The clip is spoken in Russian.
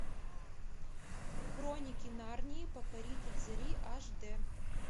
хроники нарнии покоритель зари аш дэ